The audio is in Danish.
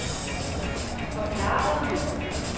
forklarede